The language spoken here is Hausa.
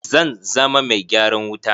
Zan zama mai gyaran wuta.